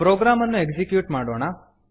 program ಅನ್ನು execute ಮಾಡೋಣ